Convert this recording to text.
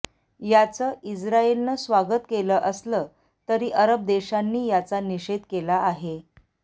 याचं इस्राईलनं स्वागत केलं असलं तरी अरब देशांनी याचा निषेध केला आहे